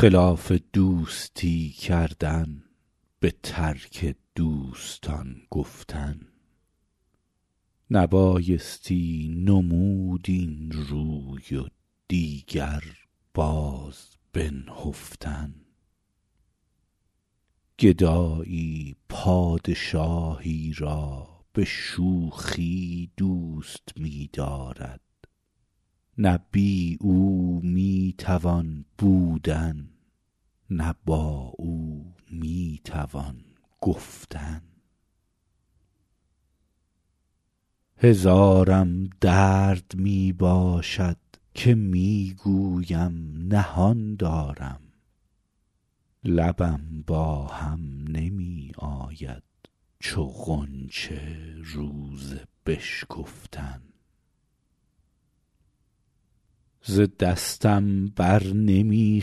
خلاف دوستی کردن به ترک دوستان گفتن نبایستی نمود این روی و دیگر باز بنهفتن گدایی پادشاهی را به شوخی دوست می دارد نه بی او می توان بودن نه با او می توان گفتن هزارم درد می باشد که می گویم نهان دارم لبم با هم نمی آید چو غنچه روز بشکفتن ز دستم بر نمی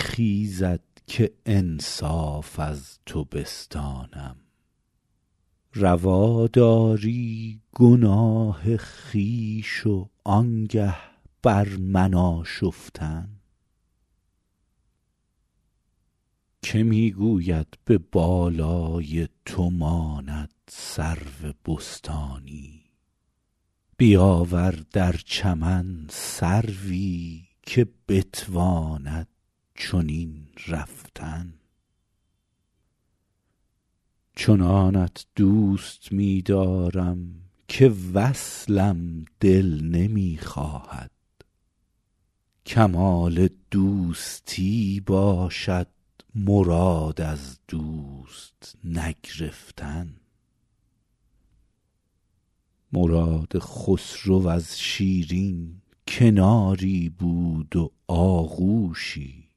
خیزد که انصاف از تو بستانم روا داری گناه خویش و آنگه بر من آشفتن که می گوید به بالای تو ماند سرو بستانی بیاور در چمن سروی که بتواند چنین رفتن چنانت دوست می دارم که وصلم دل نمی خواهد کمال دوستی باشد مراد از دوست نگرفتن مراد خسرو از شیرین کناری بود و آغوشی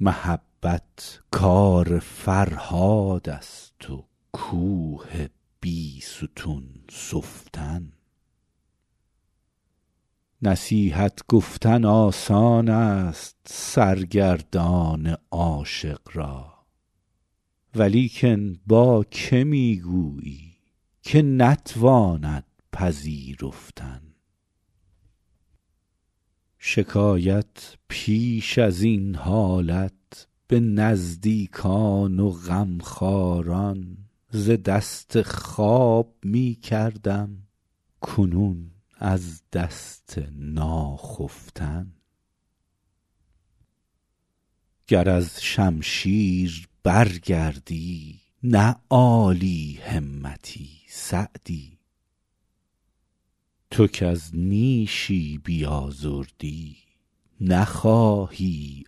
محبت کار فرهاد است و کوه بیستون سفتن نصیحت گفتن آسان است سرگردان عاشق را ولیکن با که می گویی که نتواند پذیرفتن شکایت پیش از این حالت به نزدیکان و غمخواران ز دست خواب می کردم کنون از دست ناخفتن گر از شمشیر برگردی نه عالی همتی سعدی تو کز نیشی بیازردی نخواهی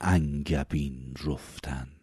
انگبین رفتن